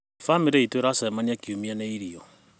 Bamĩrĩ iitũ ĩracemania Kiumia nĩ irio.